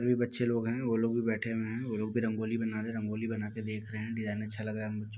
ये बच्चे लोग हैं। वो लोग भी बैठे हुए हैं। वो लोग भी रंगोली बना रहे हैं। रंगोली बना के देख रहे हैं। डिज़ाइन अच्छा लग रहा है। मु --